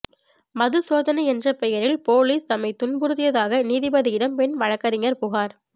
மது சோதனை என்ற பெயரில் போலீஸ் தம்மை துன்புறுத்தியதாக நீதிபதியிடம் பெண் வழக்கறிஞர் புகார்